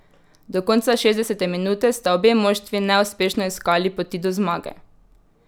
Do konca šestdesete minute sta obe moštvi neuspešno iskali poti do zmage.